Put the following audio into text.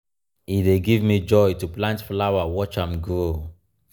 e dey give me joy to plant flower watch am grow.